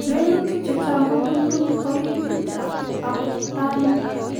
lelutik chechang kobunuu oritiit ap abutaniik